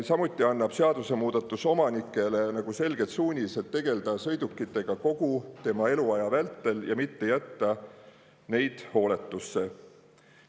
Samuti annab seadusemuudatus omanikele selged suunised tegeleda sõidukitega kogu eluaja vältel ja mitte jätta neid hooletusse.